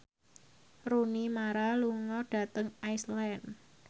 Rooney Mara lunga dhateng Iceland